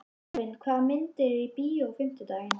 Elvin, hvaða myndir eru í bíó á fimmtudaginn?